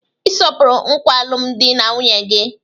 Ị sọpụrụ nkwa alụmdi na nwunye gị.